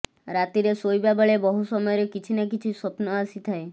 ରାତିରେ ଶୋଇବା ବେଳେ ବହୁ ସମୟରେ କିଛି ନା କିଛି ସ୍ୱପ୍ନ ଆସିଥାଏ